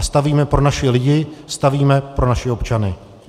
A stavíme pro naše lidi, stavíme pro naše občany.